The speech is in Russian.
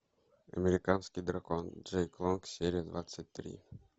американский дракон джейк лонг серия двадцать три